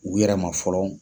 U yɛrɛ ma fɔlɔ